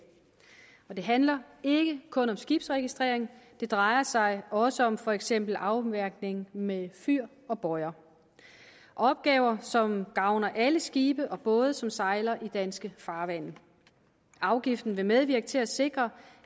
det handler ikke kun om skibsregistrering det drejer sig også om for eksempel afmærkning med fyr og bøjer og opgaver som gavner alle skibe og både som sejler i danske farvande afgiften vil medvirke til at sikre